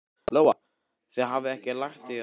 Lóa: Þið hafið ekki lagt í að sofa inni?